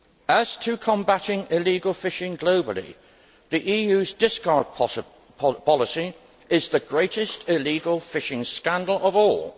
As to combating illegal fishing globally, the EU's discard policy is the greatest illegal fishing scandal of all!